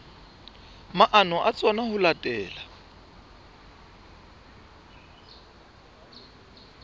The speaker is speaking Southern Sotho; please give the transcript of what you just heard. maano a tsona ho latela